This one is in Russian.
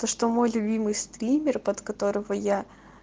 то что мой любимый стример под которого я